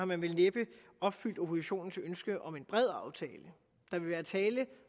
man vel næppe opfyldt oppositionens ønske om en bred aftale der vil være tale